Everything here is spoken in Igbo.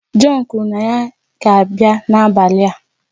John kwuru na ya ga-abịa n'abalị a